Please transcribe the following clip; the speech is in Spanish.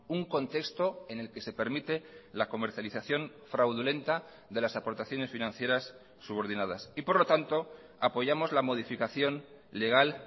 un contexto en el que se permite la comercialización fraudulenta de las aportaciones financieras subordinadas y por lo tanto apoyamos la modificación legal